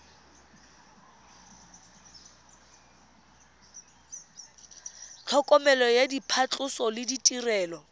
tlhokomelo ya phatlhoso le ditirelo